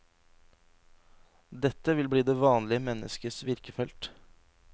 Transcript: Dette vil bli det vanlige menneskes virkefelt.